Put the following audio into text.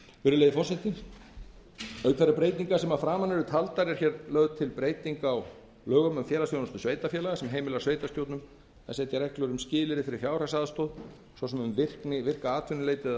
foreldraorlof auk þeirra breytinga sem að framan eru taldar er hér lögð til breyting á lögum um félagsþjónustu sveitarfélaga sem heimilar sveitarstjórnum að setja reglur um skilyrði fyrir fjárhagsaðstoð svo sem um virkni virka atvinnuleit eða